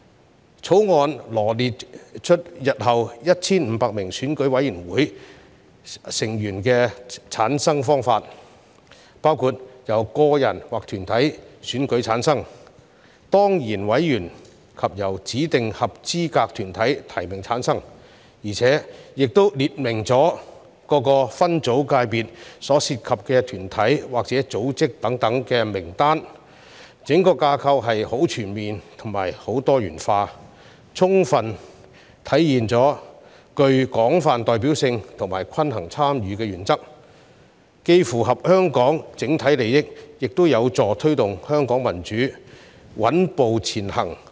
《條例草案》羅列日後 1,500 名選舉委員會委員的產生方法，包括由個人或團體選舉產生、當然委員及由指定合資格團體提名產生，亦列明各個界別分組所涉及的團體或組織等名單，整個架構十分全面及多元化，充分體現具廣泛代表性和均衡參與的原則，既符合香港整體利益，亦有助推動香港民主穩步前行。